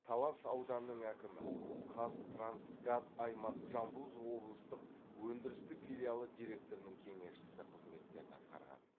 талас ауданының әкімі қазтрансгаз аймақ жамбыл з облыстық өндірістік филиалы директорының кеңесшісі қызметтерін атқарған